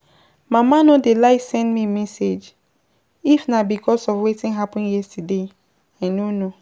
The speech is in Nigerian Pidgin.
Mama no dey like send me message, if na because of wetin happen yesterday I no know.